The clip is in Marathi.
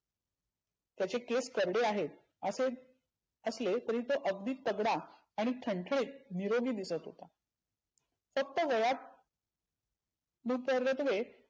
त्याचे केस गंधे आहेत असेच असलेतरी तो तगडा आणि ठनठनीत निरोगी दिसत होता. फक्त वयात लुपरतवे